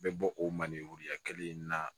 Bɛ bɔ o malenya kelen in na